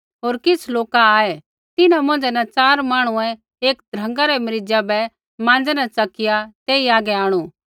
होर किछ़ लोका आऐ तिन्हां मौंझ़ै न च़ार मांहणुऐ एक ध्रँगा रै मरीज़ा बै माँज़ै न च़किया तेई हागै आंणु